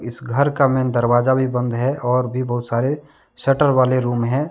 इस घर का मेन दरवाजा भी बंद है और भी बहुत सारे शटर वाले रूम है।